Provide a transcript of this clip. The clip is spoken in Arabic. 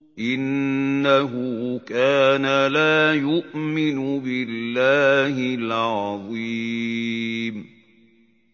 إِنَّهُ كَانَ لَا يُؤْمِنُ بِاللَّهِ الْعَظِيمِ